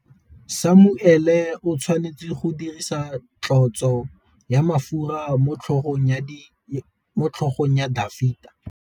Samuele o tshwanetse go dirisa tlotsô ya mafura motlhôgong ya Dafita.